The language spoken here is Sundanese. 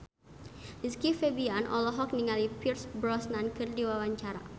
Rizky Febian olohok ningali Pierce Brosnan keur diwawancara